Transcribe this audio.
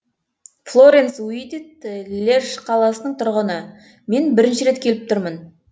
флоренс уидит льеж қаласының тұрғыны мен бірінші рет келіп тұрмын